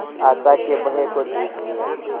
आशा के भय को जीत लिया